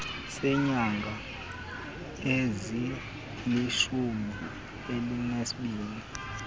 seenyanga ezilishumi elinesibini